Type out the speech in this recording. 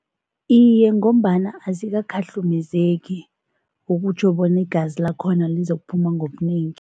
Iye, ngombana azikakhahlumezeki okutjho bona igazi lakhona alizokuphuma ngobunengi.